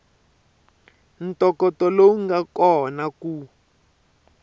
ntokoto lowu nga kona ku